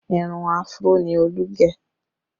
Irun Afro ni Olú gẹ̀